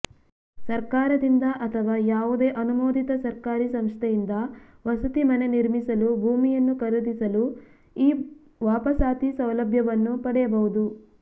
ಸರ್ಕಾರದಿಂದ ಅಥವಾ ಯಾವುದೇ ಅನುಮೋದಿತ ಸರ್ಕಾರಿ ಸಂಸ್ಥೆಯಿಂದ ವಸತಿ ಮನೆ ನಿರ್ಮಿಸಲು ಭೂಮಿಯನ್ನು ಖರೀದಿಸಲು ಈ ವಾಪಸಾತಿ ಸೌಲಭ್ಯವನ್ನು ಪಡೆಯಬಹುದು